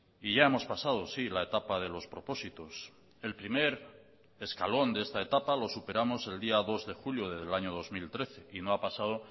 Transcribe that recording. y ya hemos pasado sí la etapa de los propósitos el primer escalón de esta etapa lo superamos el día dos de julio del año dos mil trece y no ha pasado